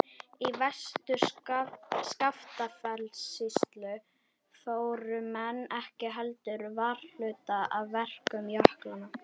Í Vestur-Skaftafellssýslu fóru menn ekki heldur varhluta af verkum jöklanna.